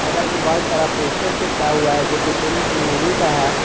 बगल में बहुत सारा पोस्टर चिपका हुआ है जो की फिल्म की मूवी का है।